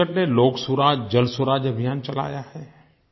छत्तीसगढ़ ने लोकसुराज जलसुराज अभियान चलाया है